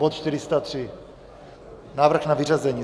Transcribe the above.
Bod 403, návrh na vyřazení.